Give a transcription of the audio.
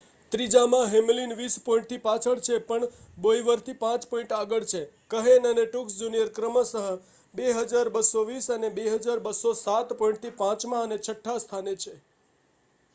ત્રીજામાં Hamlin વીસ પોઈન્ટથી પાછળ છે પણ બોવયરથી 5 પોઈન્ટ આગળ છે કહેન અને ટ્રુક્સ જુનિયર ક્રમશ 2,220 અને 2,207 પોઈન્ટથી પાંચમાં અને છઠ્ઠા સ્થાને છે